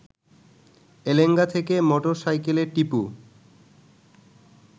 এলেঙ্গা থেকে মোটর সাইকেলে টিপু